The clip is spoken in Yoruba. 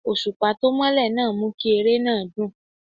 Òṣùpá tó mọ́lẹ̀ náà mú kí eré náà dùn.